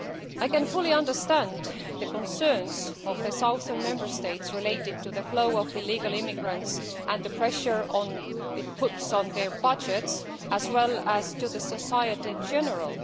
I can fully understand the concerns of the southern Member States relating to the flow of illegal immigrants and the pressure it puts on their budgets as well as on society in general.